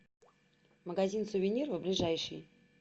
магазин сувениров ближайший